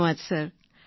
ધન્યવાદ સર